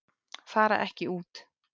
Fara ekki út